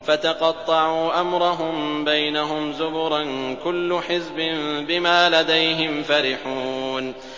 فَتَقَطَّعُوا أَمْرَهُم بَيْنَهُمْ زُبُرًا ۖ كُلُّ حِزْبٍ بِمَا لَدَيْهِمْ فَرِحُونَ